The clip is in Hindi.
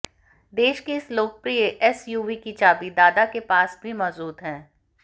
देश की इस लोकप्रिय एसयूवी की चाबी दादा के पास भी मौजूद है